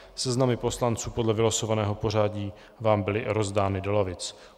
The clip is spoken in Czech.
Seznamy poslanců podle vylosovaného pořadí vám byly rozdány do lavic.